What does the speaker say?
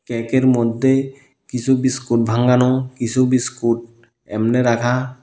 কেকের মধ্যে কিসু বিস্কুট ভাঙ্গানো কিসু বিস্কুট এমনে রাখা।